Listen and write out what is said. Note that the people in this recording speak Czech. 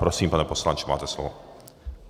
Prosím, pane poslanče, máte slovo.